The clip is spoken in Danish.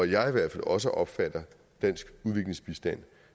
jeg i hvert fald også opfatter dansk udviklingsbistand